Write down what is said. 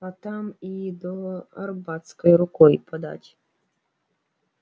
а там и до арбатской рукой подать